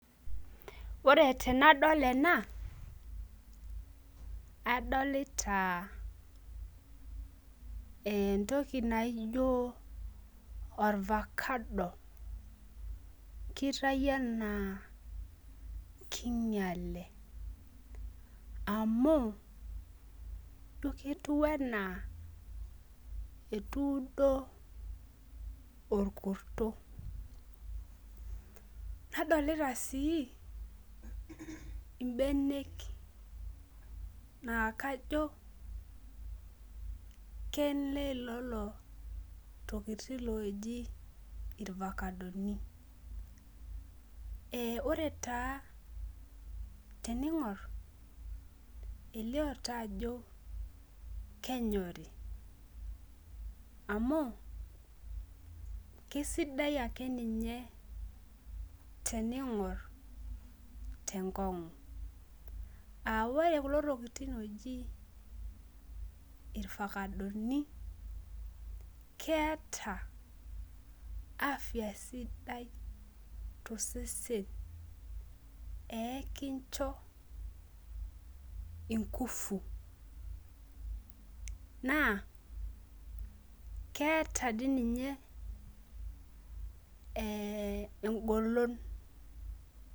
Ore tenadol ena, adolita entoki naijo olfakado. kitayu ena king'iale, amu ketiu anaa ketuudo orkurto. nadolita sii, ibenek naa kajo kenelelo tokitin looji ilfakadoni. teningor elioo taa ajo kenyori. amu, kisidai ake ninye teningor te nkong'.ore kulo tokitin ooji ilfakadoni meeta afia sidai tosesen. pee kincho inkufu. naa keeta dii ninye egolon.